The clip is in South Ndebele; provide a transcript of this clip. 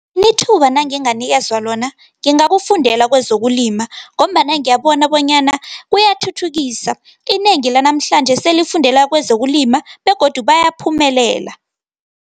Ithuba nanginganikezwa lona, ngingakufundela kwezokulima ngombana ngiyibona bonyana kuyathuthukisa. Inengi lanamhlanje selifundela kwezokulima begodu bayaphumelela.